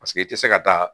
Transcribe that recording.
Paseke i tɛ se ka taa